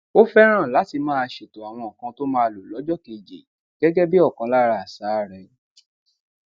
ó féràn láti máa ṣètò àwọn nǹkan tó máa lo lójó kejì gégé bí okan lara asa rè